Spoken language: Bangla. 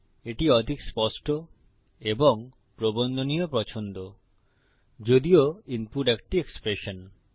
এটি অধিক স্পষ্ট এবং প্রবন্ধনীয় পছন্দ যদিও ইনপুট একটি এক্সপ্রেশন